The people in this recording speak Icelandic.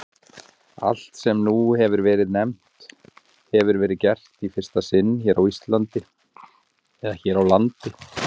Allt, sem nú hefir verið nefnt, hefir verið gert í fyrsta sinn hér á landi.